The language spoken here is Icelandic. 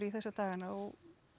þessa dagana og